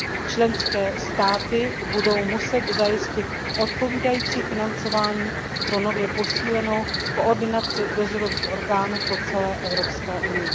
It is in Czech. Členské státy budou muset zajistit odpovídající financování pro nově posílenou koordinaci dozorových orgánů po celé EU.